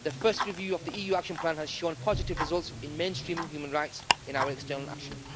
The first review of the EU action plan has shown positive results in mainstreaming human rights in our external action.